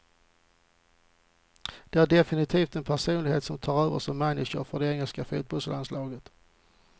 Det är definitivt en personlighet som tar över som manager för det engelska fotbollslandslaget.